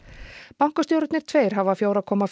bankastjórarnir tveir hafa fjögur komma